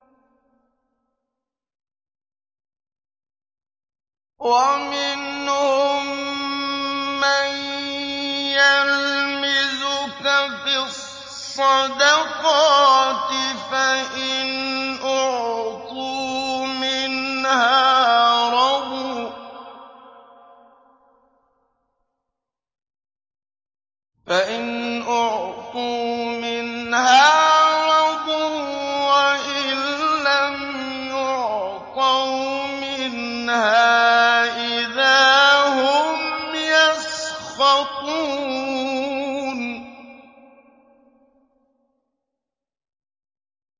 وَمِنْهُم مَّن يَلْمِزُكَ فِي الصَّدَقَاتِ فَإِنْ أُعْطُوا مِنْهَا رَضُوا وَإِن لَّمْ يُعْطَوْا مِنْهَا إِذَا هُمْ يَسْخَطُونَ